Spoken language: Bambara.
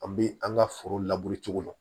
An bɛ an ka foro cogo la